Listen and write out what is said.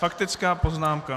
Faktická poznámka.